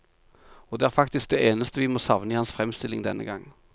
Og det er faktisk det eneste vi må savne i hans fremstilling denne gang.